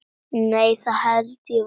Nei það held ég varla.